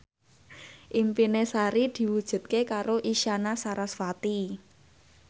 impine Sari diwujudke karo Isyana Sarasvati